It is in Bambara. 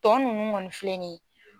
Tɔ nunnu kɔni filɛ nin ye.